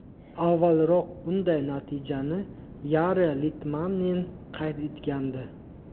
Avvalroq bunday natijani Yari Litmanen qayd etgandi.